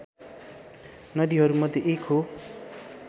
नदीहरूमध्ये एक हो